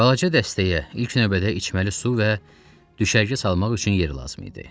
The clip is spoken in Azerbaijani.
Balaca dəstəyə ilk növbədə içməli su və düşərgə salmaq üçün yer lazım idi.